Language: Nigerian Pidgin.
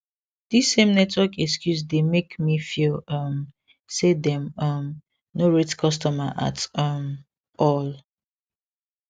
this same network excuse dey make me feel um say dem um no rate customer at um all